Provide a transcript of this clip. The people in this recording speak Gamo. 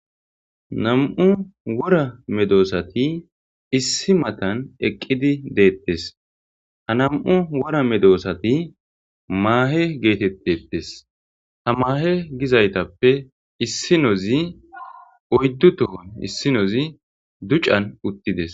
nam7u wora medoosati issi matan eqqidi deettes ha nam7u wora medoosati maahe geetettetes ha maahe gizaytappe issi nozi oyddu tohon issinozi ducan uttides